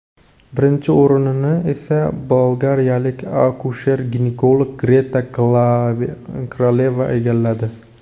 Birinchi o‘rinni esa bolgariyalik akusher-ginekolog Greta Kraleva egalladi.